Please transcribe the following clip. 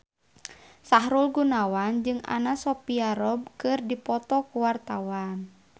Sahrul Gunawan jeung Anna Sophia Robb keur dipoto ku wartawan